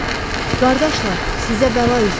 Qardaşlar, sizə bəla üz verib.